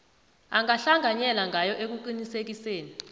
angahlanganyela ngayo ekuqinisekiseni